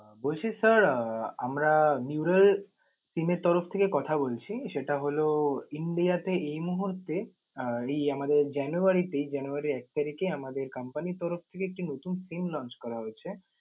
বলছি sir আহ আমরা neural team এর তরফ থেকে কথা বলছি। সেটা হল India তে এই মুহূর্তে আহ এই আমাদের জানুয়ারিতেই জানুয়ারির এক তারিকে আমাদের company র তরফ থেকে একটা নতুন SIM launch করা হয়েছে।